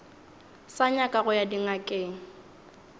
sa nyaka go ya dingakeng